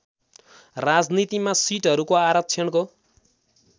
राजनीतिमा सिटहरूको आरक्षणको